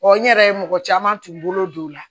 n yɛrɛ ye mɔgɔ caman tun bolo don o la